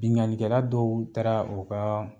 Biŋalikɛla dɔw taara o ka